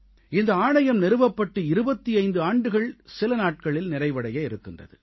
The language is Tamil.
இந்த ஆணையம் நிறுவப்பட்டு 25 ஆண்டுகள் சில நாட்களில் நிறைவடைய இருக்கின்றது